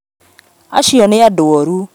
Acio nĩ andũoru